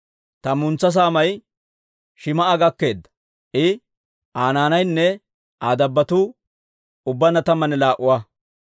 Tammantsa saamay Shim"a gakkeedda; I, Aa naanaynne Aa dabbotuu ubbaanna tammanne laa"a.